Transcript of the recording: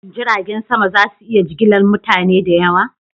Shin jiragen sama za su iya jigilar mutane da yawa?